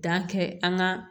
kɛ an ka